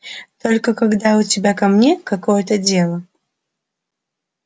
только когда у тебя ко мне какое-то дело